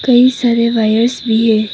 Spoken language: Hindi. ढेर सारे वायर्स भी है।